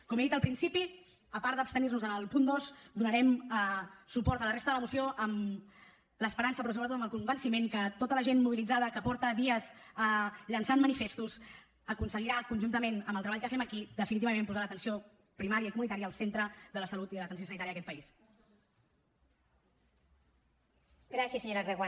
com he dit al principi a part d’abstenir nos en el punt dos donarem suport a la resta de la moció amb l’esperança però sobretot amb el convenciment que tota la gent mobilitzada que fa dies que llança manifestos aconseguirà conjuntament amb el treball que fem aquí definitivament posar l’atenció primària i comunitària al centre de la salut i de l’atenció sanitària d’aquest país